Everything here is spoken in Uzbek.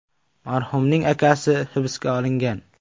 Marhumning akasi hibsga olingan.